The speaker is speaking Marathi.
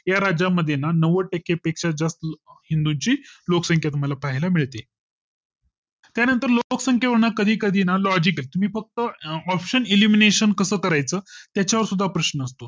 या राज्यमध्ये ना नव्वद टक्के पेक्षा जास्त हिंदूंची लोकसंक्या तुम्हाला पाहायला मिळते त्यानंतर लोकसंख्या ना कधी कधी ना logic आहे, तुम्ही फक्त अं option elimination कस कायच त्याचा वर सुद्दा प्रश्न असतो